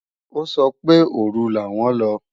Ó sọ pé òru làwọn lọ